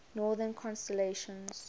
northern constellations